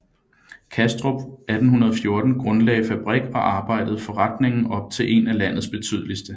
Kastrup 1814 grundlagte fabrik og arbejdede forretningen op til en af landets betydeligste